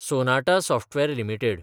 Sonata software limited